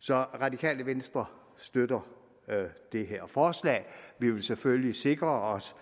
så radikale venstre støtter det her forslag vi vil selvfølgelig sikre os